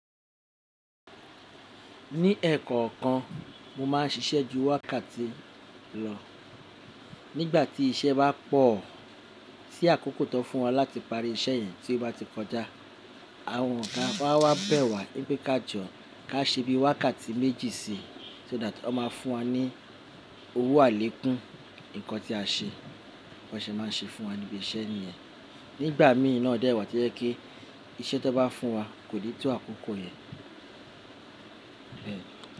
Ní ẹ̀kọ́ kan mo máa ń ṣiṣẹ́ ju wákàtí lọ. Nígbà tí iṣẹ́ bá pọ̀ tí àkókò tó fún wa láti parí iṣẹ́ yẹn tí ó bá ti kọjá, àwọn ọ̀gá wa máa bẹ̀ wá ní pé ká jọ ká ṣe bí i wákàtí méjì si, só that wọ́n máa fún wa ní owó àlékún nǹkan tí a ṣe, bó ṣe máa ń ṣe fún wa níbi iṣẹ́ nìyẹn. Nígbà mìí náà dẹ́ wá to jẹ́ kí iṣẹ́ tó bá fún wa kò ní tó àkókò yẹn. Bẹ́ẹ̀ni.